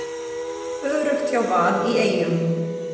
Öruggt hjá Val í Eyjum